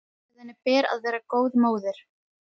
Og að henni ber að vera henni góð móðir.